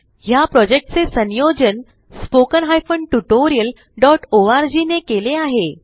ह्या प्रॉजेक्टचे संयोजन httpspoken tutorialorg ने केले आहे